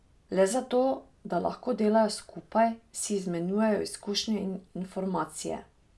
Le zato, da lahko delajo skupaj, si izmenjujejo izkušnje in informacije.